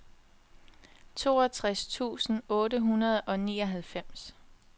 toogtres tusind otte hundrede og nioghalvfems